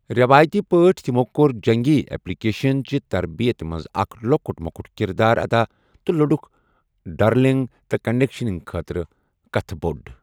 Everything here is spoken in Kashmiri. ریوایتی پٲٹھۍ، تِمو کوٚر جنگی ایٚپلِکیشن چہِ تربیت منٛز اکھ لۅکُٹ مۅکُٹ کردار ادا تہٕ لوٚڈُکھ، ڈرلنگ اور کنڈیشننگ خٲطرٕ کھٔتۍ بوٚٹھ ۔